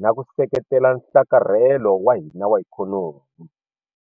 na ku seketela nhlakarhelo wa hina wa ikhonomi.